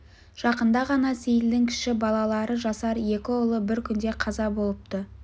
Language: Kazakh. жақында ғана сейілдің кіші балалары жасар екі ұлы бір күнде қаза болыпты